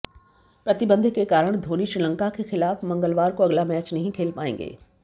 प्रतिबंध के कारण धोनी श्रीलंका के खिलाफ मंगलवार को अगला मैच नहीं खेल पाएंगे